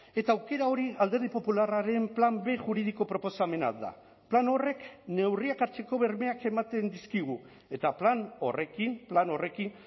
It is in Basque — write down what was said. eta aukera hori alderdi popularraren plan b juridiko proposamena da plan horrek neurriak hartzeko bermeak ematen dizkigu eta plan horrekin plan horrekin